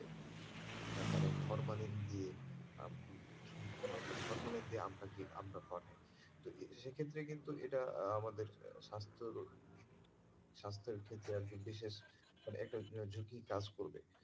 মানে ফর্মালিন দিয়ে, ফর্মালিন দিয়ে আমটা পাঠায় তো সেক্ষেত্রে কিন্তু এটা আমাদের স্বাস্থ্যের স্বাস্থ্যের ক্ষেত্রে আরকি বিশেষ মানে একটা কাজ করবে।